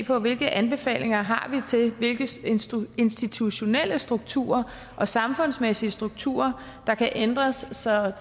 på hvilke anbefalinger vi har til hvilke institutionelle strukturer og samfundsmæssige strukturer der kan ændres så